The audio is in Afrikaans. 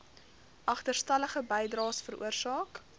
agterstallige bydraes veroorsaak